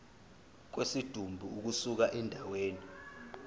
kwesidumbu ukusuka endaweni